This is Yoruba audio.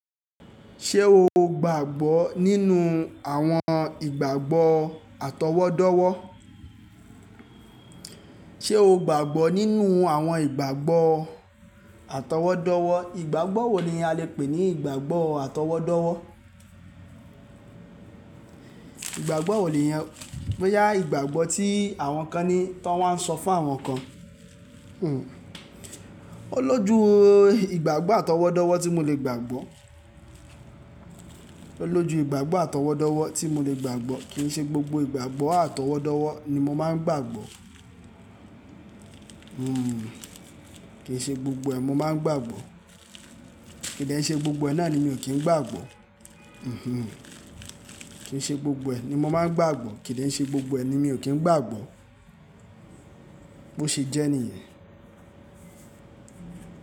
Ṣé o gbàgbọ́ nínú àwọn ìgbàgbọ́ atọwọ́dọ́wọ́? Ṣé o gbàgbọ́ nínú àwọn ìgbàgbọ́ atọwọ́dọ́wọ́? Ìgbàgbọ́ wo ni a lè pè ní ìgbàgbọ́ atọwọ́dọ́wọ́? Ìgbàgbọ́ wo nìyẹn bóyá ìgbàgbọ́ tí àwọn kan ni tán wa ń sọ fún àwọn kan. Hmm. Ó lójú ìgbàgbọ́ atọwọ́dọ́wọ́ tí mo lè gbàgbọ́. Ó lójú ìgbàgbọ́ atọwọ́dọ́wọ́ tí mo lè gbàgbọ́. Kìí ṣe gbogbo ìgbàgbọ́ atọwọ́dọ́wọ́ ni mo máa ń gbàgbọ́. Hmm. Kì í ṣe gbogbo ẹ̀ mo máa ń gbàgbọ́. Kì de n ṣe gbogbo ẹ̀ náà ni mi ò kí ń gbàgbọ́. Hmm hmm. Kì í ṣe gbogbo ẹ̀ ni mo máa ń gbàgbọ́. Kì de n ṣe gbogbo ẹ̀ ni mi ò kí ń gbàgbọ́. Bó ṣe jẹ́ níyẹn.